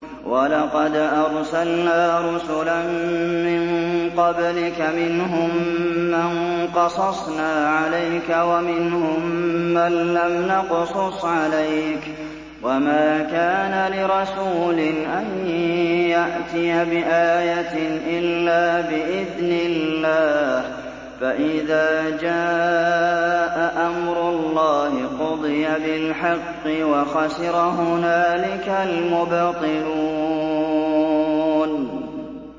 وَلَقَدْ أَرْسَلْنَا رُسُلًا مِّن قَبْلِكَ مِنْهُم مَّن قَصَصْنَا عَلَيْكَ وَمِنْهُم مَّن لَّمْ نَقْصُصْ عَلَيْكَ ۗ وَمَا كَانَ لِرَسُولٍ أَن يَأْتِيَ بِآيَةٍ إِلَّا بِإِذْنِ اللَّهِ ۚ فَإِذَا جَاءَ أَمْرُ اللَّهِ قُضِيَ بِالْحَقِّ وَخَسِرَ هُنَالِكَ الْمُبْطِلُونَ